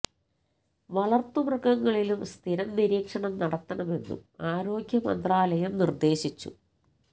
വളര്ത്തു മൃഗങ്ങളിലും സ്ഥിരം നിരീക്ഷണം നടത്തണമെന്നും ആരോഗ്യ മന്ത്രാലയം നിര്ദേശിച്ചു